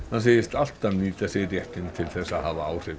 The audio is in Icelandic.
hann segist alltaf nýta sér réttinn til að hafa áhrif